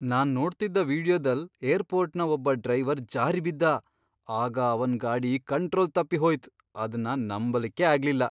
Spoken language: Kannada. ನಾನ್ ನೋಡ್ತಿದ್ದ ವಿಡಿಯೋದಲ್ ಏರ್ಪೋರ್ಟ್ನ ಒಬ್ಬ ಡ್ರೈವರ್ ಜಾರಿ ಬಿದ್ದ ಆಗ ಅವನ್ ಗಾಡಿ ಕಂಟ್ರೋಲ್ ತಪ್ಪಿ ಹೋಯ್ತ್ ಅದ್ನ ನಂಬಲಿಕ್ಕೇ ಆಗ್ಲಿಲ್ಲ.